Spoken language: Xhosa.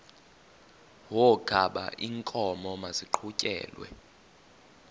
wokaba iinkomo maziqhutyelwe